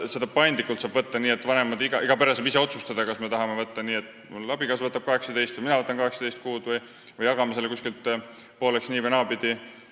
Just seetõttu, et seda puhkust saab võtta paindlikult: iga pere saab ise otsustada, kas me tahame nii, et abikaasa võtab 18 kuud või mina võtan 18 kuud, või jagame selle nii- või naapidi pooleks.